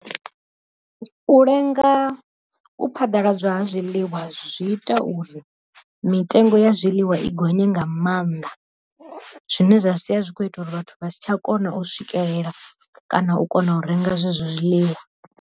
U lenga u phaḓaladzwa ha zwiḽiwa zwi ita uri mitengo ya zwiḽiwa i gonye nga maanḓa zwine zwa sia zwi kho ita uri vhathu vha si tsha kona u swikelela kana u kona u renga zwezwo zwiḽiwa.